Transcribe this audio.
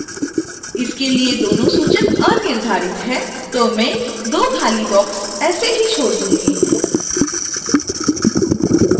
इसके लिए दोनों सूचक अनिर्धारित हैं तो मैं दो खाली बॉक्स ऐसे ही छोड दूंगी